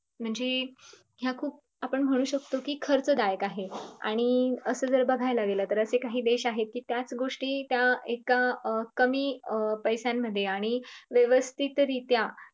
म्हणजे ह्या आपण म्हणू शकतो कि खूप आपण खर्च दायक आहेत. आणि असं जर बगायला गेले तर असे काही देश आहेत कि त्याच गोष्टी त्या एका कमी अं पैशामंध्ये आणि व्यवस्थित रित्या